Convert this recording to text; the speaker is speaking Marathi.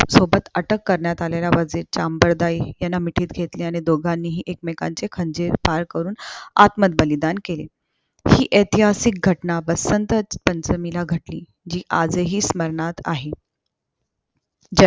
ज्या सोबत अटक करण्यात आलेल्या वर्जेतचे अंबरदायी याना मिठीत घेतले आणि दोघांनीही एकमेकांचे खंजीर पार करून आत्मबलिदान केले. हि ऐतिहासिक घटना वसंत पंचमीला घटली. जी आजही स्मरणात आहे.